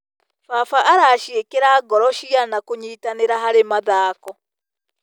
Baba araciĩkĩra ngoro ciana kũnyitanĩra harĩ mathako.